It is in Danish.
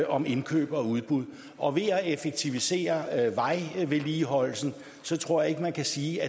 om indkøb og udbud og at effektivisere vejvedligeholdelsen tror jeg ikke man kan sige